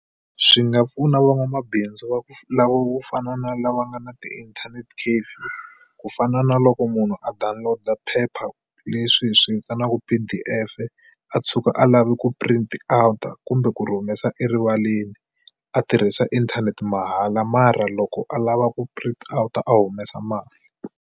Swi nga pfuna van'wamabindzu va ku lava wo fana na lava nga na ti-internet cafe ku fana na loko munhu a download paper leswi hi swi vitanaka P_D_F a tshuka a lavi ku print out-a kumbe ku ri humesa erivaleni a tirhisa inthanete mahala mara loko a lava ku print out-a a humesa mali.